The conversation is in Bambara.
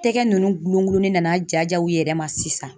Tɛgɛ ninnu gulon gulonnen nana ja ja u yɛrɛ ma sisan